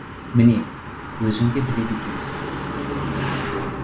міне өзің де біледі екенсің